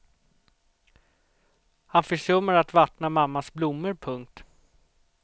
Han försummar att vattna mammas blommor. punkt